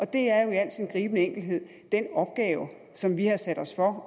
det er jo i al sin gribende enkelhed den opgave som vi har sat os for